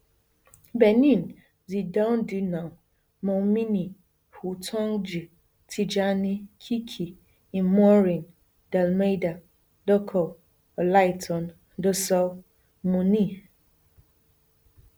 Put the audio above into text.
benin xidandjinou moumini houtondji tijani kiki imourane dalmeida dokou olaitan dossou mounie